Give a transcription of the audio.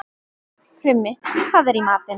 Krummi, hvað er í matinn?